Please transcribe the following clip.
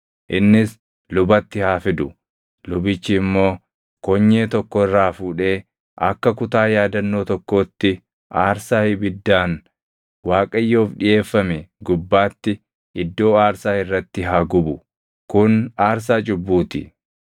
Innis lubatti haa fidu; lubichi immoo konyee tokko irraa fuudhee akka kutaa yaadannoo tokkootti aarsaa ibiddaan Waaqayyoof dhiʼeeffame gubbaatti iddoo aarsaa irratti haa gubu; kun aarsaa cubbuu ti.